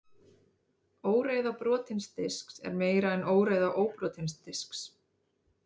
Óreiða brotins disks er meiri en óreiða óbrotins disks.